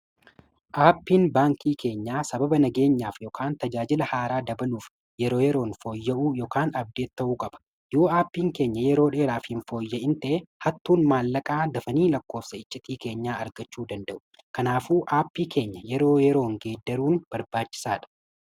Aappiin baankii keenyaa sababa nageenyaaf ykn tajaajila haaraa dabaluuf yeroo yeroon fooyya’uu yookaan abdeeti ta'uu gaba. Yoo aappiin keenya yeroo dheeraaf hin fooyya'in tee hattuun maallaqaa dafanii lakkoofsicha icciitii keenyaa argachuu danda'u kanaafuu aappii keenya yeroo yeroon geeddaruun barbaachisaadha.